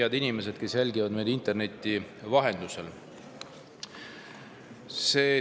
Head inimesed, kes jälgivad meid interneti vahendusel!